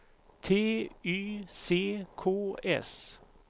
T Y C K S